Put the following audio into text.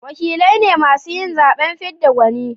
wakilai ne masu yin zaben fidda gwani